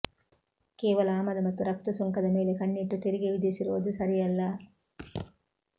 ಕೇವಲ ಆಮದು ಮತ್ತು ರಫ್ತು ಸುಂಕದ ಮೇಲೆ ಕಣ್ಣಿಟ್ಟು ತೆರಿಗೆ ವಿಧಿಸಿರೋದು ಸರಿಯಲ್ಲ